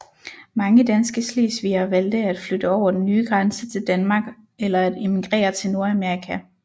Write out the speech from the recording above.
Mange danske slesvigere valgte at flytte over den nye grænse til Danmark eller at emigrere til Nordamerika